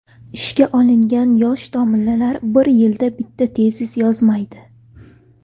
Ishga olingan yosh domlalar bir yilda bitta tezis yozmaydi.